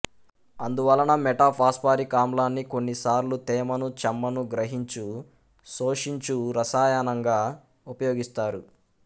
అందువలన మెటాఫాస్పారిక్ ఆమ్లాన్ని కొన్ని సార్లు తేమను చెమ్మను గ్రహించు శోషించు రసాయనంగా ఉపయోగిస్తారు